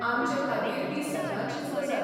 आमचे खातीर तीं सदांचीच गजाल.